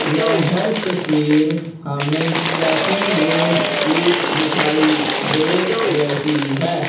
यह तस्वीर हमें चेकिंग रूम की दिखाई दे रही है।